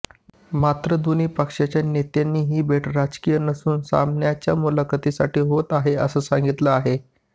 मात्र दोन्ही पक्षाच्या नेत्यांनी ही भेट राजकीय नसून सामनाच्या मुलाखतीसाठी होती असं सांगितलं आहे